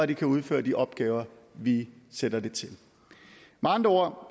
de kan udføre de opgaver vi sætter dem til med andre